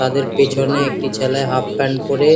তাদের পেছনে একটি ছেলে হাফ প্যান্ট পরে